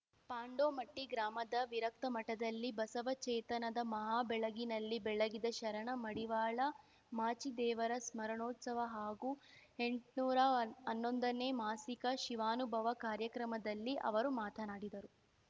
ಪಾಂಡೋಮಟ್ಟಿಗ್ರಾಮದ ವಿರಕ್ತಮಠದಲ್ಲಿ ಬಸವ ಚೇತನದ ಮಹಾ ಬೆಳಗಿನಲ್ಲಿ ಬೆಳಗಿದ ಶರಣ ಮಡಿವಾಳ ಮಾಚಿದೇವರ ಸ್ಮರಣೋತ್ಸವ ಹಾಗೂ ಎಂಟ್ನೂರಾ ಹನ್ನೊಂದನೇ ಮಾಸಿಕ ಶಿವಾನುಭವ ಕಾರ್ಯಕ್ರಮದಲ್ಲಿ ಅವರು ಮಾತನಾಡಿದರು